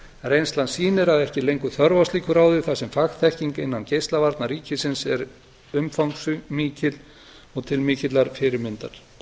reynslan sýnir að ekki er lengur þörf á slíku ráði þar sem fagþekking innan geislavarna ríkisins er umfangsmikil og til mikillar fyrirmyndar